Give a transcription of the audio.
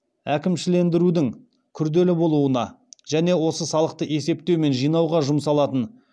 әкімшілендірудің күрделі болуына және осы салықты есептеу мен жинауға жұмсалатын